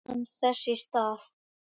spurði hann þess í stað.